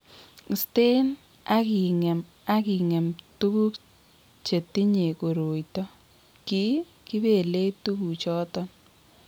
Iste ak ing'em ak ing'em tuguuk che tinyei koroito, ki kibeelei tuguuk chotok.